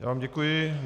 Já vám děkuji.